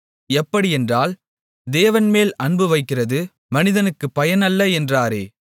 எப்படியென்றால் தேவன்மேல் அன்பு வைக்கிறது மனிதனுக்குப் பயன் அல்ல என்றாரே